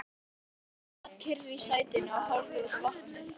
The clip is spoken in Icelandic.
Margrét sat kyrr í sætinu og horfði út á vatnið.